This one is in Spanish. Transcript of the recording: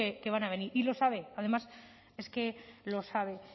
que van a venir y lo sabe además es que lo sabe